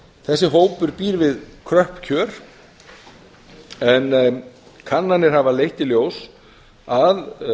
þessi hópur býr við kröpp kjör en kannanir hafa leitt í ljós að